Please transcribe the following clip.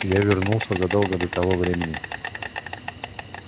я вернулся задолго до того времени